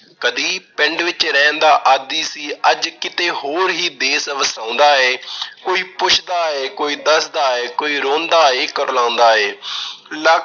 ਕਦੀ ਪਿੰਡ ਵਿੱਚ ਰਹਿਣ ਦਾ ਆਦੀ ਸੀ, ਅੱਜ ਕਿਤੇ ਹੋਰ ਈ ਦੇਸ ਵਸਾਉਂਦਾ ਏ। ਕੋਈ ਪੁੱਛਦਾ ਏ, ਕੋਈ ਦੱਸਦਾ ਏ, ਕੋਈ ਰੋਂਦਾ ਏ, ਕੁਰਲਾਉਂਦਾ ਐ, ਲੱਖ